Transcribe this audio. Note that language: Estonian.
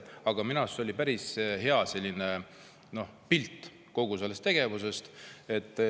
Aga minu arust see oli päris hea pilt kogu sellisest tegevusest.